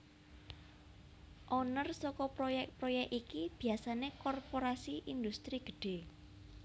Owner saka proyèk proyèk iki biasané korporasi indhustri gedhé